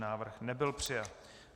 Návrh nebyl přijat.